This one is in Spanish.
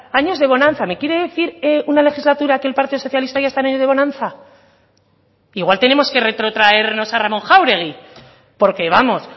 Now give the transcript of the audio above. años de bonanza me quiere decir una legislatura que el partido socialista haya estado en años de bonanza que igual tenemos que retrotraernos a ramón jáuregui porque vamos